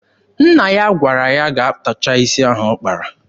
Nna ya gwara ya gaa tọcha isi ahụ ọ kpara.